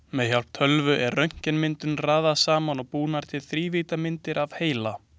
Með hjálp tölvu er röntgenmyndunum raðað saman og búnar til þrívíddarmyndir af heila.